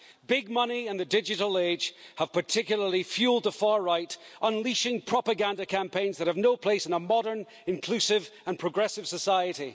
Big money and the digital age have particularly fuelled the far right, unleashing propaganda campaigns that have no place in a modern, inclusive and progressive society.